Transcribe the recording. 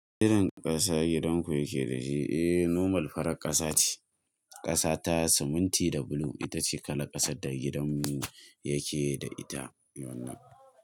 Irin ƙasa gidanku yake da shi? Eh, normal farar ƙasa ce. Ƙasa ta siminti da blue itace kalan ƙasar da gidanmu yake da ita.